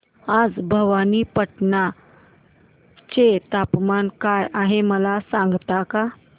आज भवानीपटना चे तापमान काय आहे मला सांगता का